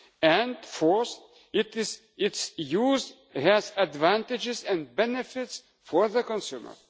and, fourthly, its use has advantages and benefits for the consumer.